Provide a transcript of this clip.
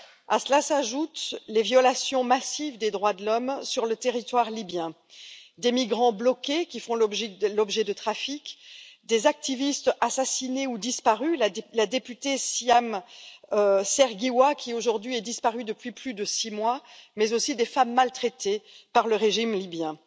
À cela s'ajoutent les violations massives des droits de l'homme sur le territoire libyen, des migrants bloqués qui font l'objet de trafics, des activistes assassinés ou disparus la députée Siham Sergewa qui aujourd'hui est disparue depuis plus de six mois mais aussi des femmes maltraitées par le régime libyen.